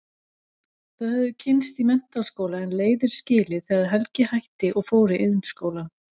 Þau höfðu kynnst í menntaskóla en leiðir skilið þegar Helgi hætti og fór í Iðnskólann.